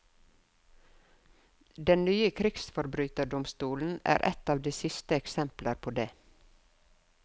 Den nye krigsforbryterdomstolen er et av de siste eksempler på det.